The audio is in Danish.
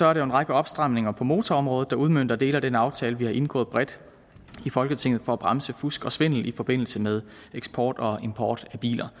er der en række opstramninger på motorområdet der udmønter dele af den aftale vi har indgået bredt i folketinget for at bremse fusk og svindel i forbindelse med eksport og import af biler